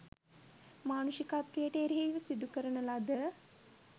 මානුෂිකත්වයට එරෙහිව සිදුකරන ලද